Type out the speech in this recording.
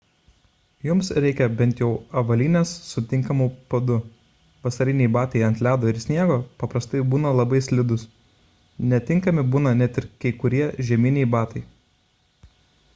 jums reikia bent jau avalynės su tinkamu padu vasariniai batai ant ledo ir sniego paprastai būna labai slidūs netinkami būna net ir kai kurie žieminiai batai